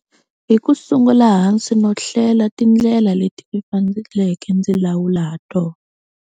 Hi ku sungula hansi no hlela tindlela leti ndzi faneleke ndzi lawula ha tona.